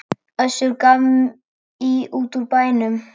Össur gaf í út úr bænum.